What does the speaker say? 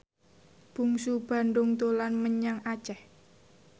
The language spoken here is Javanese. Bungsu Bandung dolan menyang Aceh